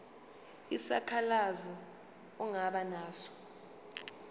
isikhalazo ongaba naso